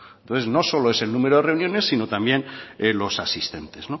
entonces no solo es el número de reuniones sino también los asistentes